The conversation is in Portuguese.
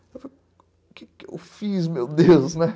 Eu falei, o que eu fiz, meu Deus, né?